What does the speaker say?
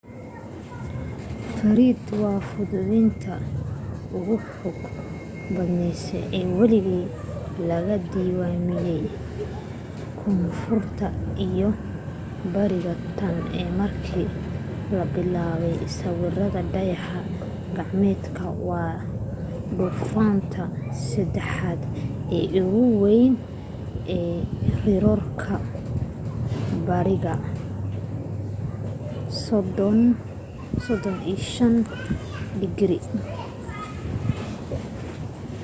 fred waa duufaantii ugu xooga badneyd ee weligeed laga diiwaamiyay koonfurta iyo bariga tan iyo markii la bilaabay sawirka dayax gacmeedka waana duufaanta saddexaad ee ugu weyneyd ee riroorka bariga 35°w